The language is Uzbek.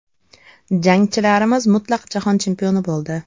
Jangchilarimiz mutlaq jahon chempioni bo‘ldi!.